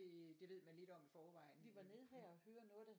Ved man lidt om i forvejen